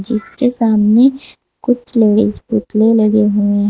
इसके सामने कुछ लेडिस पुतले लगे हुए ह--